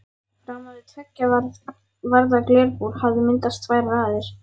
Framan við tveggja varða glerbúr hafa myndast tvær raðir.